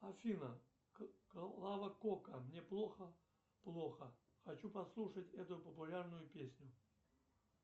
афина клава кока мне плохо плохо хочу послушать эту популярную песню